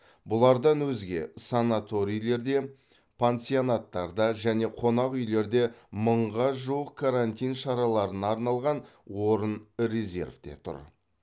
бұлардан өзге санаторийлерде пансионаттарда және қонақ үйлерде мыңға жуық карантин шараларына арналған орын резервте тұр